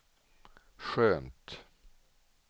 skönt